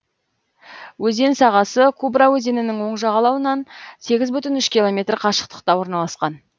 өзен сағасы кубра өзенінің оң жағалауынан сегіз бүтін үш километр қашықтықта орналасқан